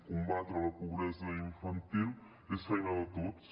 combatre la pobresa infantil és feina de tots